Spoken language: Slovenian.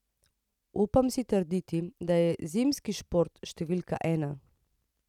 Upam si trditi, da je zimski šport številka ena.